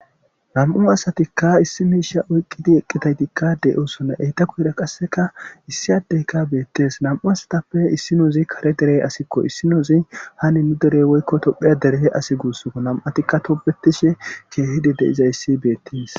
nam7u asatikka issi miisha oyqqidi eqqitaytikka deyosonne eyta kohira qasseka issi addeyka beettes nam7u asatappe issi nouzi kare derey asikko issi nozi ha ni nu derey woykko tophiya derehe asi guussoo nam7atikka tobetishe keehidi de iza issi beettes